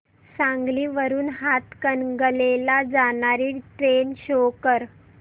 सांगली वरून हातकणंगले ला जाणारी ट्रेन शो कर